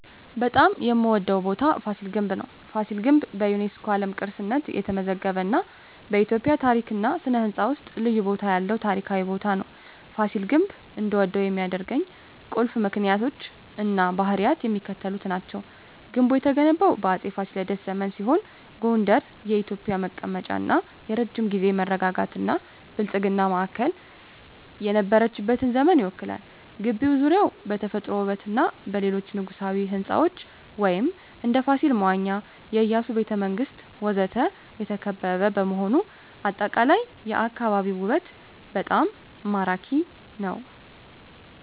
በጣም የምዎደው ቦታ ፋሲል ግንብ ነው። ፋሲል ግንብ በዩኔስኮ የዓለም ቅርስነት የተመዘገበ እና በኢትዮጵያ ታሪክ እና ሥነ ሕንፃ ውስጥ ልዩ ቦታ ያለው ታሪካዊ ቦታ ነው። ፋሲል ግንብ እንድወደው ከሚያደርኝ ቁልፍ ምክንያቶች እና ባህሪያት የሚከተሉት ናቸው። ግንቡ የተገነባው በአፄ ፋሲለደስ ዘመን ሲሆን ጎንደር የኢትዮጵያ መቀመጫ እና የረጅም ጊዜ መረጋጋትና ብልጽግና ማዕከል የነበረችበትን ዘመን ይወክላል። ግቢው ዙሪያውን በተፈጥሮ ውበትና በሌሎች የንጉሣዊ ሕንፃዎች (እንደ ፋሲል መዋኛ፣ የኢያሱ ቤተ መንግስት ወዘተ) የተከበበ በመሆኑ አጠቃላይ የአካባቢው ውበት በጣም ማራኪ ነው። …